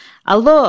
Alo!